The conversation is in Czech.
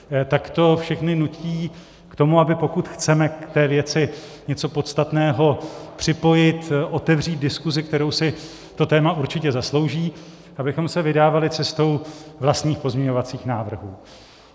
Tak to všechny nutí k tomu, aby pokud chceme k té věci něco podstatného připojit, otevřít diskusi, kterou si to téma určitě zaslouží, abychom se vydávali cestou vlastních pozměňovacích návrhů.